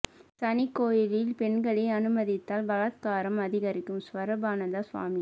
சனி கோயிலில் பெண்களை அனுமதித்தால் பலாத்காரம் அதிகரிக்கும் ஸ்வரூபானந்த சுவாமி